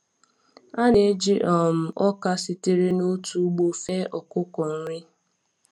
A na-eji um ọka sitere n’otu ugbo fee ọkụkọ nri.